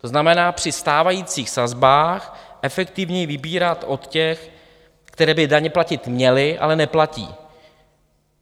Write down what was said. To znamená, při stávajících sazbách efektivněji vybírat od těch, kteří by daně platit měli, ale neplatí.